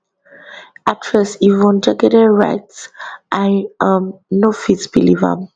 actress yvonne jegede write i um no fit believe am